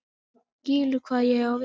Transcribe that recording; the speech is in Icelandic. þú skilur hvað ég á við.